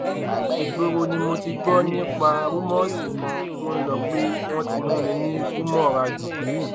ìgboro ni mo ti gbọ nípa rúmọọsì kan tó ń lọ pé wọn ti mú mi ní gúmóràjì